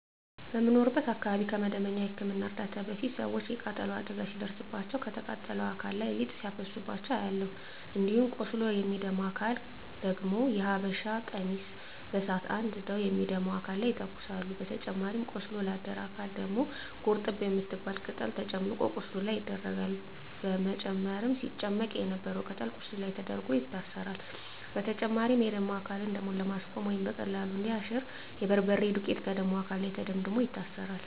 በምኖርበት አካባቢ ከመደበኛ የህክምና እርዳታ በፊት ሰወች የቃጠሎ አደጋ ሲደርስባቸው ከተቃጠለው አካል ላይ ሊጥ ሲያፈሱባቸው አያለሁ። እንዲሁም ቆስሎ ለሚደማ አካል ደግሞ የሀበሻ ቀሚስ በሳት አንድደው የሚደማውን አካል ይተኩሳሉ በተጨማሪም ቆስሎ ላደረ አካል ደግሞ ጎርጠብ የምትባል ቅጠል ተጨምቆ ቁስሉ ላይ ይደረጋል በመጨረም ሲጨመቅ የነበረው ቅጠል ቁስሉ ላይ ተደርጎ ይታሰራል። በተጨማሪም የደማ አካልን ደሙን ለማስቆመረ ወይም በቀላሉ እንዲያሽ የበርበሬ ዱቄት ከደማው አካል ላይ ተደምድሞ ይታሰራል።